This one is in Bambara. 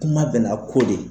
Kuma bɛɛ n'a ko de